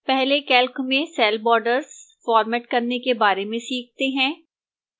पहले calc में cell borders format करने के बारे में सीखते हैं